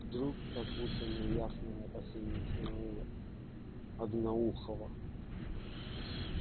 вдруг как будто неясное опасение остановило одноухого